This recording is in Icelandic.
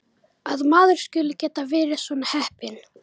Að maður skuli geta verið svona heppinn